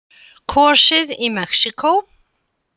Kosið í Mexíkó